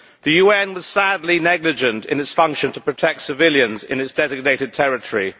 The UN was sadly negligent in its function to protect civilians in its designated territory.